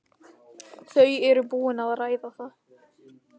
Þau eru búin að ræða það.